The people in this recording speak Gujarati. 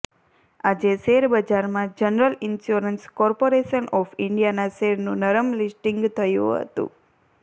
આજે શેરબજારમાં જનરલ ઈન્સ્યોરન્સ કોર્પોરેશન ઓફ ઈન્ડિયાના શેરનું નરમ લિસ્ટિંગ થયું હતું